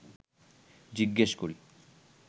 জিজ্ঞেস করি